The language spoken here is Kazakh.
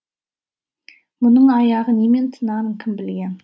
мұның аяғы немен тынарын кім білген